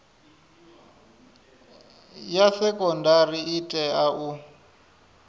ya sekondari i tea u